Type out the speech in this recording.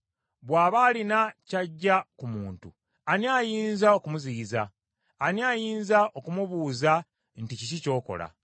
Bw’aba alina ky’aggya ku muntu, ani ayinza okumuziyiza? Ani ayinza okumubuuza nti kiki ky’okola?